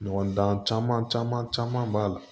Ɲɔgɔn dan caman caman b'a la